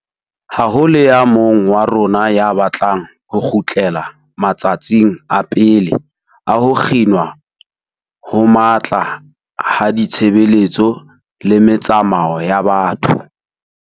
Ha ho le ya mong wa rona ya batlang ho kgutlela ma tsatsing a pele a ho kginwa ho matla ha ditshebeletso le metsamao ya batho.